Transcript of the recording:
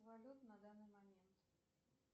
валют на данный момент